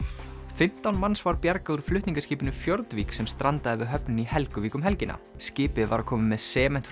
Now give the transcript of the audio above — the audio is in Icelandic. fimmtán manns var bjargað úr flutningaskipinu Fjordvik sem strandaði við höfnina í Helguvík um helgina skipið var að koma með sement